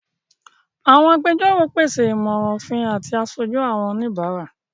Àwọn àgbẹjọro pese imọran ofin ati àṣoju àwọn alabara.